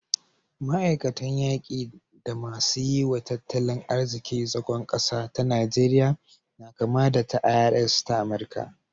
Ma'aikatan yaki da masu yi wa tattalin arziki zagon ƙasa ta Najeriya na kama da ta IRS ta Amurika